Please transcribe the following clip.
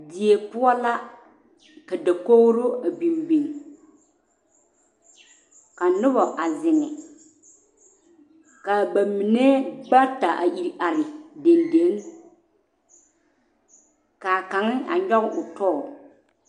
Die poɔ la ka dakogero a biŋ biŋ ka noba a zeŋ kaa ba mine bata a iri are dendeŋe kaa kaŋ a gyɔge o tɔ